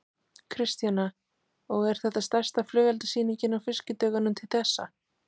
Kristjana: Og er þetta stærsta flugeldasýningin á Fiskidögunum til þessa?